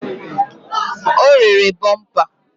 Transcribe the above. O rere bọmpa